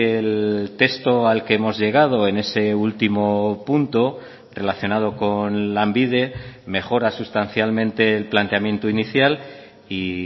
el texto al que hemos llegado en ese último punto relacionado con lanbide mejora sustancialmente el planteamiento inicial y